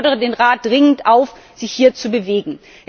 Ich fordere den Rat dringend auf, sich hier zu bewegen.